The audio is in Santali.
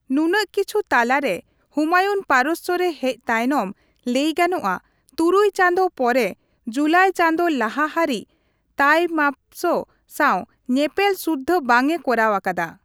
ᱱᱩᱱᱟᱹᱜ ᱠᱤᱪᱷᱩ ᱛᱟᱞᱟᱨᱮ, ᱦᱩᱢᱟᱭᱩᱱ ᱯᱟᱨᱚᱥᱥᱚ ᱨᱮ ᱦᱮᱡ ᱛᱟᱭᱱᱚᱢ ᱞᱟᱹᱭᱜᱟᱱᱚᱜᱼᱟ ᱛᱩᱨᱩᱭ ᱪᱟᱸᱫᱳ ᱯᱚᱨᱮ ᱡᱩᱞᱟᱭ ᱪᱟᱸᱫᱳ ᱞᱟᱦᱟ ᱦᱟᱨᱤᱡ ᱛᱟᱭᱢᱟᱯᱥ ᱥᱟᱣ ᱧᱮᱯᱮᱞ ᱥᱩᱫᱽᱫᱷᱟᱹ ᱵᱟᱝ ᱮ ᱠᱚᱨᱟᱣ ᱟᱠᱟᱫᱟ ᱾